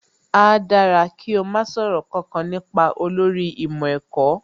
Áá dára kí o má sọ̀rọ̀ kankan nípa olórí ìmọ̀ ẹ̀kọ́